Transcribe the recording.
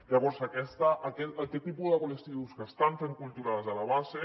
llavors aquest tipus de col·lectius que estan fent cultura des de la base